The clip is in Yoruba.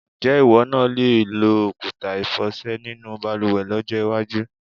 Ǹjé̩ ìwó̩ náà le lo òkúta ìfò̩sè̩ nínú balùwè̩ ló̩jó̩ iwájú?